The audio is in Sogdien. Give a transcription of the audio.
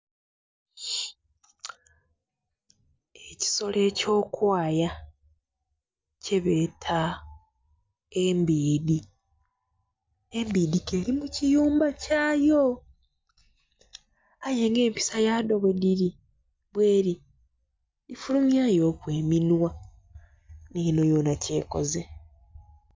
Ekisolo eky'okwaya kyebeeta embiidhi, embiidhi k'eri mu kiyumba kyayo. Aye nga empisa yadho bwedhiri...bweri, dhifulumyayoku eminhwa, n'enho yonha kyekoze.